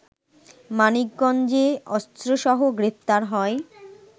মানিকগঞ্জে অস্ত্রসহ গ্রেফতার হয়